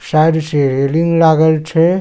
Side से railing लागल छे।